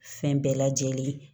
Fɛn bɛɛ lajɛlen